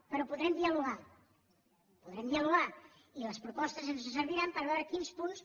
però podrem dialogar podrem dialogar i les propostes ens serviran per veure quins punts